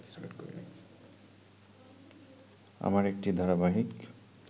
আমার একটি ধারাবাহিক